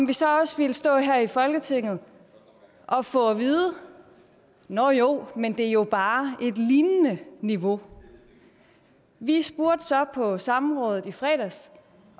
vi så også stå her i folketinget og få at vide nåh jo men det er jo bare et lignende niveau vi spurgte så på samrådet i fredags